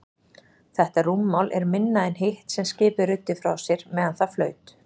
Þetta rúmmál er minna en hitt sem skipið ruddi frá sér meðan það flaut.